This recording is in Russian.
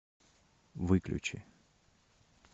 выключи